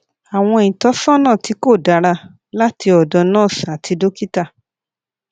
àwọn ìtọsọnà tí kò dára láti ọdọ nurse àti dókítà